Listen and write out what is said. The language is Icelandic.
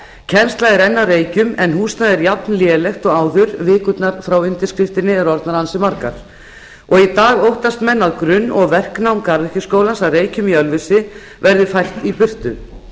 kennsla er enn að reykjum en húsnæðið er jafnlélegt og áður vikurnar frá undirskriftinni eru orðnar ansi margar í dag óttast menn að grunn og verknám garðyrkjuskólans að reykjum í ölfusi verði fært í burtu